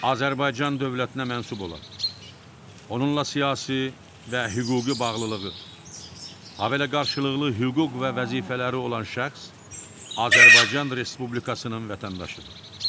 Azərbaycan dövlətinə mənsub olan, onunla siyasi və hüquqi bağlılığı, habelə qarşılıqlı hüquq və vəzifələri olan şəxs Azərbaycan Respublikasının vətəndaşıdır.